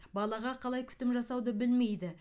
балаға қалай күтім жасауды білмейді